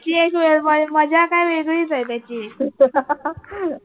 ती एक वेळ म मज्जा काय वेगळीच आहे त्याची